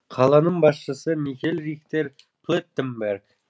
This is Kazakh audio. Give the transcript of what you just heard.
қаланың басшысы михель рихтер плеттенберг